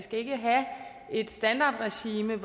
et standardregime